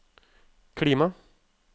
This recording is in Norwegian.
klima